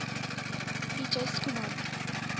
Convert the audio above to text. p j schoeman